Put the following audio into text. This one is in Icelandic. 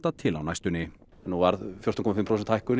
til á næstunni nú varð fjórtán komma fimm prósent hækkun